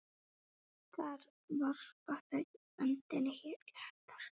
Þar varpa þau öndinni léttar.